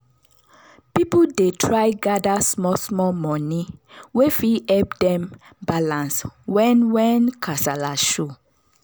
people dey try gather small small money wey fit help dem balance when when kasala show.